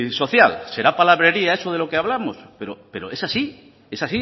social será palabrería eso de lo que hablamos pero es así es